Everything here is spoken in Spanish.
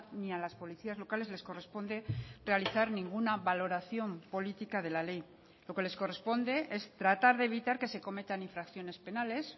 ni a las policías locales les corresponde realizar ninguna valoración política de la ley lo que les corresponde es tratar de evitar que se cometan infracciones penales